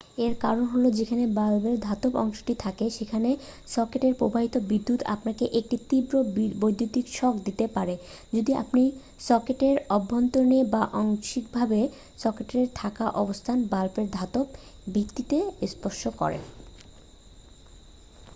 এর কারণ হ'ল যেখানে বাল্বের ধাতব অংশটি থাকে সেখানে সকেটে প্রবাহিত বিদ্যুৎ আপনাকে একটি তীব্র বৈদ্যুতিক শক দিতে পারে যদি আপনি সকেটের অভ্যন্তরে বা আংশিকভাবে সকেটে থাকা অবস্থায় বাল্বের ধাতব ভিত্তিতে স্পর্শ করেন